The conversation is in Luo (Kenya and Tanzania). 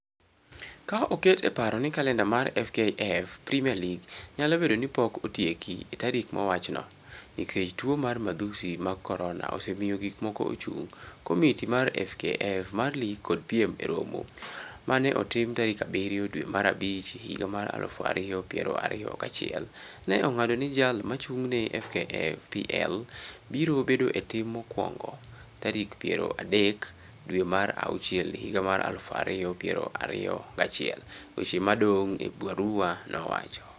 "Ka oket e paro ni kalenda mar FKF Premier League nyalo bedo ni pok otieki e tarik mowachno, nikech tuo mar madhusi mag Corona osemiyo gik moko ochung', komiti mar FKF mar lig kod piem e romo ma ne otim tarik abirio dwe mar abich higa mar alufu ariyo piero ariyo gachiel, ne ong'ado ni jal mochung' ne FKF PL biro bedo e tim mokwongo tarik piero dek dwe mar auchiel higa mar alufu ariyo piero ariyo gachiel", weche modong' e barua nowacho.